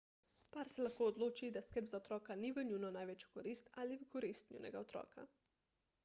par se lahko odloči da skrb za otroka ni v njuno največjo korist ali v korist njunega otroka